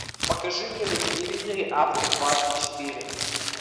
покажи мне на телевизоре авто двадцать четыре